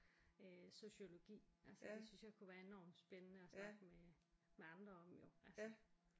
Øh sociologi altså det synes jeg kunne være enormt spændende at snakke med med andre om jo altså